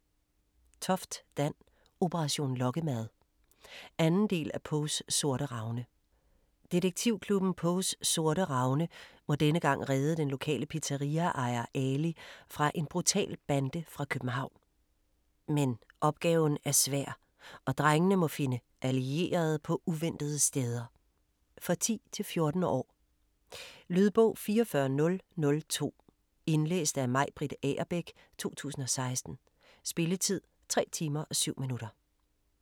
Toft, Dan: Operation lokkemad 2. del af Poes Sorte Ravne. Detektivklubben Poes Sorte Ravne må denne gang redde den lokale pizzeria-ejer, Ali, fra en brutal bande fra København. Men opgaven er svær og drengene må finde allierede på uventede steder. For 10-14 år. Lydbog 44002 Indlæst af Maj-Britt Agerbæk, 2016. Spilletid: 3 timer, 7 minutter.